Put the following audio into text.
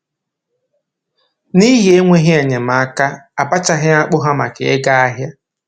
N'ihi enweghị enyemaka, a bachaghị akpụ ha maka ịga ahịa